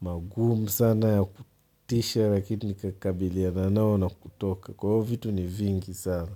magumu sana ya kutisha lakini nikakabiliana nayo na kutoka. Kwa hio, vitu ni vingi sana.